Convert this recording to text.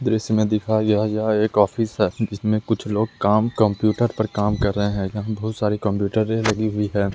दृश्य में दिखाया गया है यह एक ऑफिस है जिसमें कुछ लोग काम कंप्यूटर पर काम कर रहे हैं यहाँ बहुत सारे कंप्यूटर लगी हुई हैं।